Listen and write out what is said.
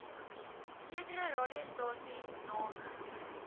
sekere radiostasies name